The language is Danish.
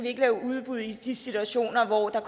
ikke lave udbud i de situationer hvor der